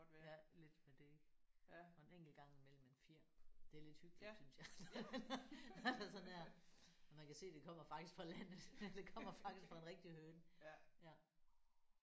Ja lidt ved det. Og en enkelt gang i mellem en fjer. Det er lidt hyggeligt synes jeg at der sådan er at man kan se at det kommer faktisk fra landet. Det kommer faktisk fra en rigtig høne ja